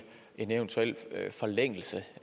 en eventuel forlængelse